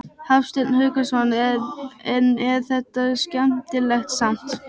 Hafsteinn Hauksson: En er þetta skemmtilegt samt?